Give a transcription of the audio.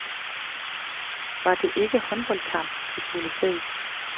Var det ikke håndboldlandskamp, vi skulle se?